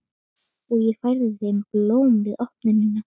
Og ég færði þeim blóm við opnunina.